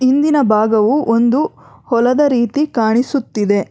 ಹಿಂದಿನ ಭಾಗವು ಒಂದು ಹೊಲದ ರೀತಿ ಕಾಣಿಸುತ್ತಿದೆ.